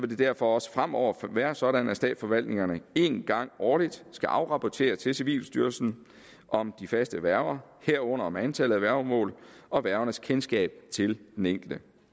det derfor også fremover være sådan at statsforvaltningerne en gang årligt skal afrapportere til civilstyrelsen om de faste værger herunder om antallet af værgemål og værgernes kendskab til den enkelte